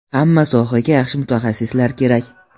Hamma sohaga yaxshi mutaxassislar kerak.